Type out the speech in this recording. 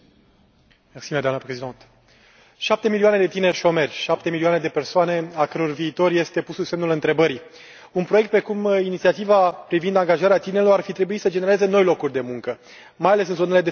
Doamnă Președinte, șapte milioane de tineri șomeri, șapte milioane de persoane al căror viitor este pus sub semnul întrebării un proiect precum Inițiativa privind angajarea tinerilor ar fi trebuit să genereze noi locuri de muncă, mai ales în zonele defavorizate.